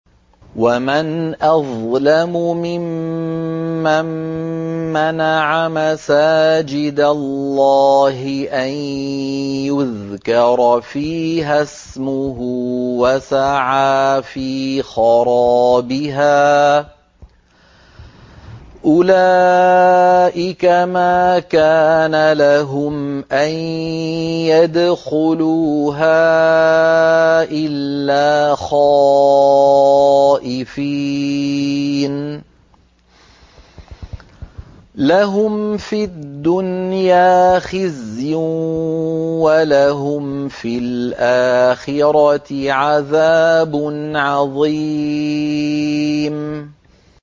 وَمَنْ أَظْلَمُ مِمَّن مَّنَعَ مَسَاجِدَ اللَّهِ أَن يُذْكَرَ فِيهَا اسْمُهُ وَسَعَىٰ فِي خَرَابِهَا ۚ أُولَٰئِكَ مَا كَانَ لَهُمْ أَن يَدْخُلُوهَا إِلَّا خَائِفِينَ ۚ لَهُمْ فِي الدُّنْيَا خِزْيٌ وَلَهُمْ فِي الْآخِرَةِ عَذَابٌ عَظِيمٌ